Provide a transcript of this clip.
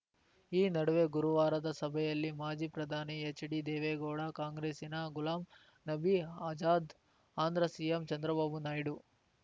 ಈ ನಡುವೆ ಗುರುವಾರದ ಸಭೆಯಲ್ಲಿ ಮಾಜಿ ಪ್ರಧಾನಿ ಹೆಚ್‌ಡಿ ದೇವೇಗೌಡ ಕಾಂಗ್ರೆಸ್ಸಿನ ಗುಲಾಂ ನಬಿ ಆಜಾದ್‌ ಆಂಧ್ರ ಸಿಎಂ ಚಂದ್ರಬಾಬು ನಾಯ್ಡು